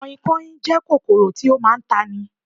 Kanhinkanhin jẹ́ kòkòrò tí ó máa ń tani